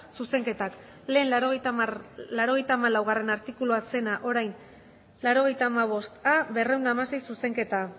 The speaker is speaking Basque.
zuzenketak lehen laurogeita hamalaugarrena artikulua zena orain laurogeita hamabosta berrehun eta hamasei zuzenketa